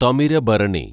Thamirabarani